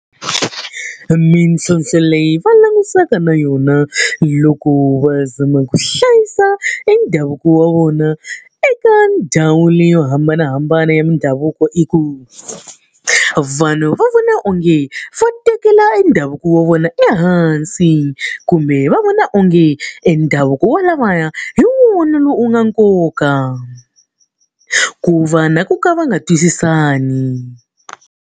Mintlhontlho leyi va langutisanaka na yona loko va zama ku hlayisa endhavuko wa vona eka ndhawu leyi yo hambanahambana ya mindhavuko i ku, vanhu va vona onge va tekela endhavuko wa vona ehansi kumbe va vona onge endhavuko wa lavaya hi munhu lowu wu nga nkoka. Ku va na ku ka va nga twisisani.